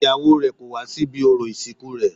Ìyàwó rè kò wá sí ibi orò ìsìnkú rẹ̀